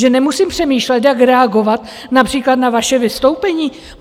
Že nemusím přemýšlet, jak reagovat například na vaše vystoupení?